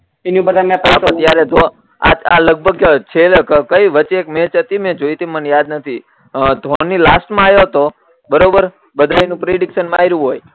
હા પણ જયારે આ લગભગ છે કઈ વચ્ચે એક મેચ હતી ને જોઈતી મને યાદ નથી ધોની લાસ્ટ માં યો તો બરોબર બધાનું પ્રીડીક્સન માર્યું હોય